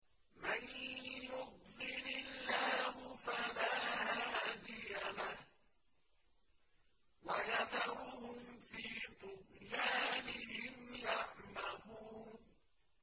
مَن يُضْلِلِ اللَّهُ فَلَا هَادِيَ لَهُ ۚ وَيَذَرُهُمْ فِي طُغْيَانِهِمْ يَعْمَهُونَ